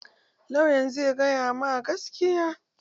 Lauyan zai gaya ma gaskiya